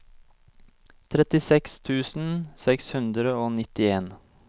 trettiseks tusen seks hundre og nittien